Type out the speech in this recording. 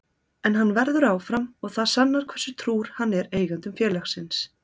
En hann verður áfram og það sannar hversu trúr hann er eigendum félagsins.